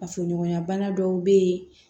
Fasoɲɔgɔnya bana dɔw bɛ yen